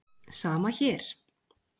Sama hér!